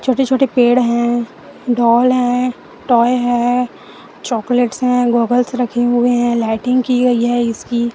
छोटे छोटे पेड़ है डॉल है टॉय है चॉकलेट्स है गॉगल्स रखे हुए है लाइटिंग की गई है इसकी--